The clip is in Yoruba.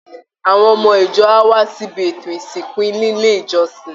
Àwọn ọmọ ìjọ á wá síbi ètò ìsìnkú nílé ìjọsìn